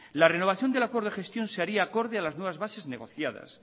la renovación del acuerdo de gestión se haría acorde a las nuevas bases negociadas